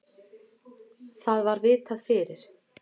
Það var vitað fyrir.